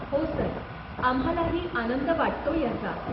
हो, सर, आम्हालाही आनंद वाटतोय ह्याचा.